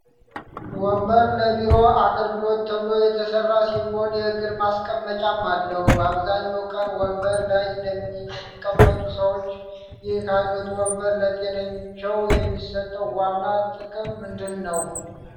ወንበር ለቢሮ አገልግሎት ተብሎ የተሰራ ሲሆን፣ የእግር ማስቀመጫም አለው። በአብዛኛው ቀን ወንበር ላይ ለሚቀመጡ ሰዎች፣ ይህ ዓይነቱ ወንበር ለጤናቸው የሚሰጠው ዋና ጥቅም ምንድን ነው?